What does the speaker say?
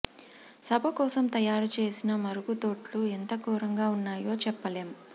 సభ కోసం తయారు చేసిన మరుగుదొడ్లు ఎంత ఘోరంగా ఉన్నాయో చెప్పలేం